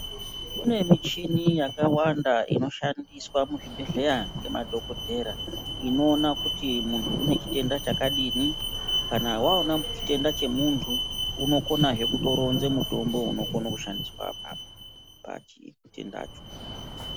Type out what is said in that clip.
Kune michini yakawanda inoshandiswa muzvibhedhleya ngemadhokodheya inoona kuti munhu une chitenda chakadini. Kana waona chitenda chemuntu, unokonazve kutoronze mutombo unokono kutoshandiswa apapo pachitendacho